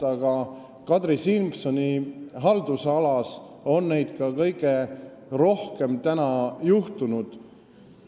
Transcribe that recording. Aga Kadri Simsoni haldusalas on selliseid asju ka kõige rohkem praegu juhtunud.